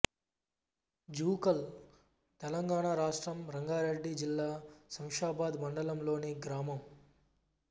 జూకల్ తెలంగాణ రాష్ట్రం రంగారెడ్డి జిల్లా శంషాబాద్ మండలంలోని గ్రామం